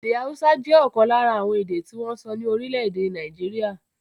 Èdè haúsá jẹ́ ọ̀kan lára àwọn èdè tí wọ́n ń sọ ní orílẹ̀-èdè Nàìjíríà.